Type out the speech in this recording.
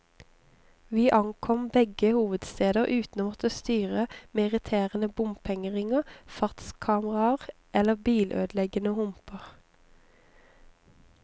Vi ankom begge hovedsteder uten å måtte styre med irriterende bompengeringer, fartskameraer eller bilødeleggende humper.